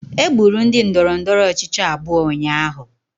Egburu ndị ndọrọndọrọ ọchịchị abụọ ụnyahụ